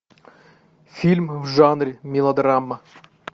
фильм в жанре мелодрама